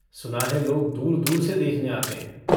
सुना है लोग दूर-दूर से देखने आते हैं।